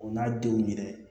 O n'a denw minɛ